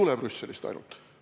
Ei tule Brüsselist ainult.